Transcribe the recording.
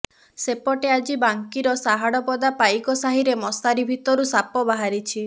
ସେପଟେ ଆଜି ବାଙ୍କିର ସାହାଡପଦା ପାଇକ ସାହିରେ ମଶାରୀ ଭିତରୁ ସାପ ବାହାରିଛି